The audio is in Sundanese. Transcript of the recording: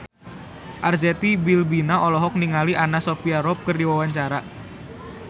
Arzetti Bilbina olohok ningali Anna Sophia Robb keur diwawancara